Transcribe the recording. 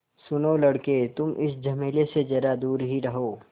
सुनो लड़के तुम इस झमेले से ज़रा दूर ही रहो